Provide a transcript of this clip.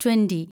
twenty